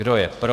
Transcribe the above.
Kdo je pro?